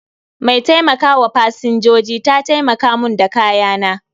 Mai taimaka wa Pasanjoji ta taimaka mun da kayana